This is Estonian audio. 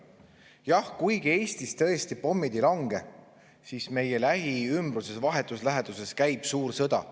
Jah, kuigi Eestis tõesti pommid ei lange, siis meie lähiümbruses, vahetus läheduses käib suur sõda.